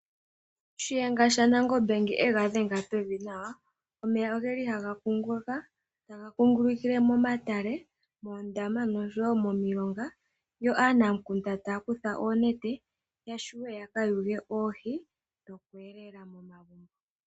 Shiyenga shanangombe ngele yega dhenge pevi nawa, omeya ohaga kunguluka, taga kungulukile momatale, moondama noshowo momilonga. Aananamukunda ohaya kutha oonete, opo yaka yuge oohi dhoku ninga osheelelwa.